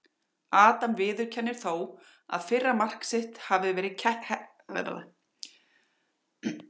Adam viðurkennir þó að fyrra mark sitt hafi verið heppnismark.